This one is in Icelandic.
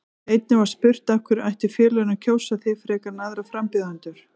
Einnig var spurt: Af hverju ættu félögin að kjósa þig frekar en aðra frambjóðendur?